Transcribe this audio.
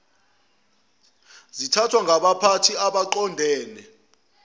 zithathwa ngabaphathi abaqondene